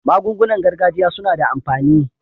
Magungunan gargajiya suna da amfani.